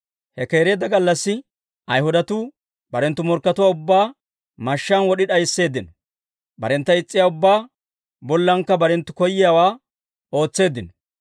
He keereedda gallassi Ayhudatuu barenttu morkkatuwaa ubbaa mashshaan wod'i d'aysseeddino; barentta is's'iyaa ubbaa bollankka barenttu koyowaa ootseeddino.